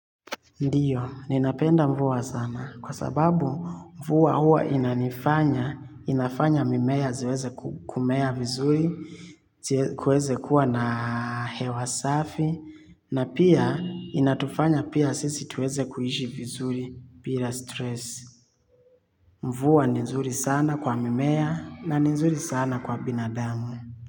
Ndiyo, ninapenda mvua sana kwa sababu mvua huwa inanifanya inafanya mimea ziweze kumea vizuri kuweze kuwa na hewa safi na pia inatufanya pia sisi tuweze kuishi vizuri bira stress. Mvua ni nzuri sana kwa mimea, na ni nzuri sana kwa binadamu.